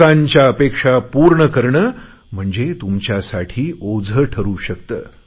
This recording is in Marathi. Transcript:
लोकांच्या अपेक्षा पूर्ण करणे म्हणजे तुमच्यासाठी ओझे ठरु शकते